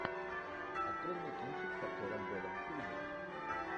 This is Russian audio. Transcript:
открой мне кинчик с актером вэлом килмером